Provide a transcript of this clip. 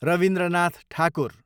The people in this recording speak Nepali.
रवीन्द्रनाथ ठाकुर